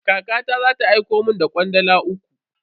Kakata za ta aiko mun da kwandala uku.